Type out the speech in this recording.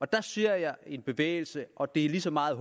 der ser jeg en bevægelse og det er lige så meget